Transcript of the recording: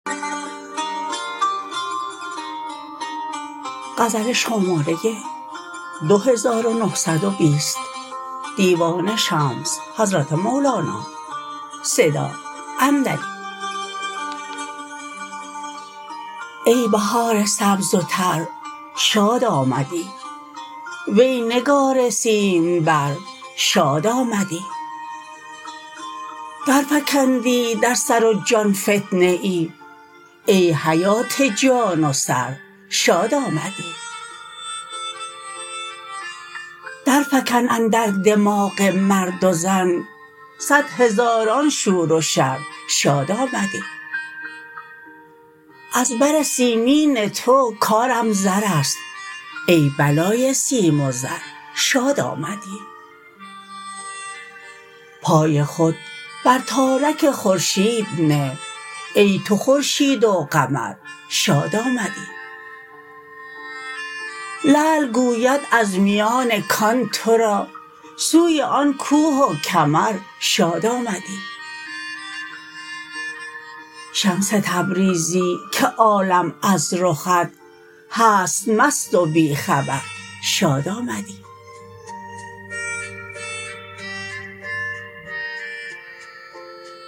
ای بهار سبز و تر شاد آمدی وی نگار سیمبر شاد آمدی درفکندی در سر و جان فتنه ای ای حیات جان و سر شاد آمدی درفکن اندر دماغ مرد و زن صد هزاران شور و شر شاد آمدی از بر سیمین تو کارم زر است ای بلای سیم و زر شاد آمدی پای خود بر تارک خورشید نه ای تو خورشید و قمر شاد آمدی لعل گوید از میان کان تو را سوی آن کوه و کمر شاد آمدی شمس تبریزی که عالم از رخت هست مست و بی خبر شاد آمدی